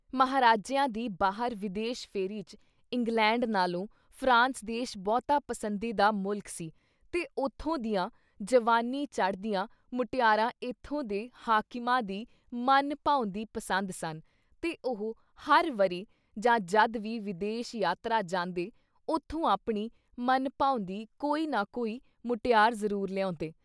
ਮਹਾਰਾਜਿਆਂਂ ਦੀ ਬਾਹਰ ਵਿਦੇਸ਼ ਫੇਰੀ ‘ਚ ਇੰਗਲੈਂਡ ਨਾਲੋਂ ਫਰਾਂਸ ਦੇਸ਼ ਬਹੁਤਾ ਪੰਸਦੀਦਾ ਮੁਲਕ ਸੀ ਤੇ ਉੱਥੋਂ ਦੀਆਂ ਜਵਾਨੀ ਚੜ੍ਹਦੀਆਂ ਮੁਟਿਆਰਾਂ ਏਥੋਂ ਦੇ ਹਾਕਿਮਾਂ ਦੀ ਮਨ-ਭਾਉਂਦੀ ਪੰਸਦ ਸਨ ਤੇ ਉਹ ਹਰ ਵਰ੍ਹੇ ਜਾਂ ਜਦ ਵੀ ਵਿਦੇਸ਼ ਯਾਤਰਾ ਜਾਂਦੇ ਉੱਥੋਂ ਆਪਣੀ ਮਨ-ਭਾਉਂਦੀ ਕੋਈ ਨਾ ਕੋਈ ਮੁਟਿਆਰ ਜ਼ਰੂਰ ਲਿਆਉਂਦੇ।